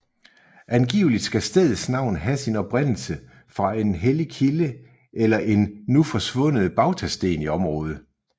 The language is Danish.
Angiveligt skal stedets navn have sin oprindelse fra en hellig kilde eller en nu forsvundet bautasten i området